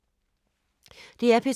DR P2